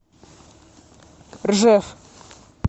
ржев